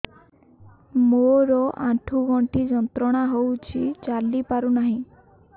ମୋରୋ ଆଣ୍ଠୁଗଣ୍ଠି ଯନ୍ତ୍ରଣା ହଉଚି ଚାଲିପାରୁନାହିଁ